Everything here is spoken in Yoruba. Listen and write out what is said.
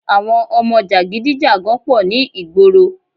Àwọn ọmọ jàgidígàgun pọ̀ ní ìgboro